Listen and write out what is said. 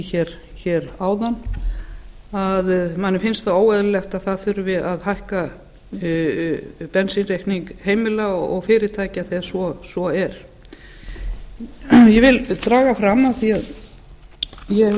hér áðan á að manni finnst það óeðlilegt að það þurfi að hækka bensínreikning heimila og fyrirtækja þegar svo er ég vil taka fram af því að ég hef